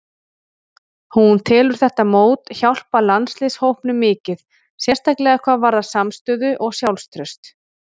Hún telur þetta mót hjálpa landsliðshópnum mikið, sérstaklega hvað varðar samstöðu og sjálfstraust.